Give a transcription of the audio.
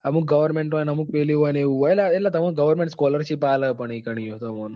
અમુક goverment હોય ને અમુક પેલી હોય ને એટલે goverment તમને scholarship આપે પણ ત્યાં પણ.